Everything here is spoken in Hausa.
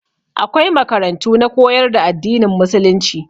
Akwai makarantu na koyar da addinin musulunci.